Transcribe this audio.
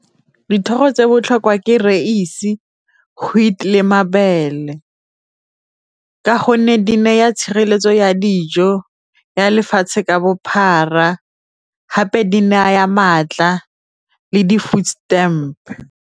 Dithoro tse botlhokwa ke , wheat le mabele ka gonne di neya tshireletso ya dijo ya lefatshe ka bophara gape di naya maatla le di food stamp.